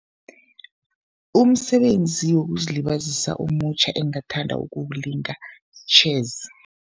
Umsebenzi wokuzilibazisa omutjha engathanda ukuwulinga yi-chess.